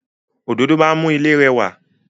Òdòdó máa n mú ilé rẹwà